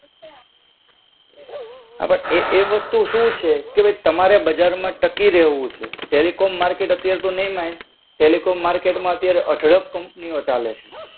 હા બટ, એ વસ્તુ શું છે કે અવે તમારે બજારમાં ટકી રહેવું છે. ટેલિકોમ માર્કેટ અત્યારે તો નહીં માય. ટેલિકોમ માર્કેટમાં ત્યારે અઢળક કંપનીઓ ચાલે છે.